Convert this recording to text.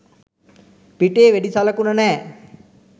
පිටේ වෙඩි සලකුණ නෑ